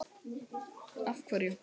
Lára: Af hverju?